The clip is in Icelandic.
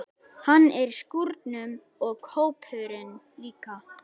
Hann er í skúrnum og kópurinn líka.